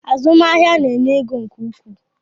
Azụmahịa na-enye ego nke ukwuu